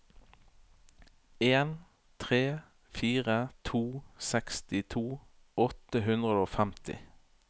en tre fire to sekstito åtte hundre og femti